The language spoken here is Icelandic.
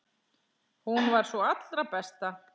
Hún var sú allra besta.